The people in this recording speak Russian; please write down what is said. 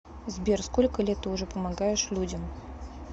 сбер сколько лет ты уже помогаешь людям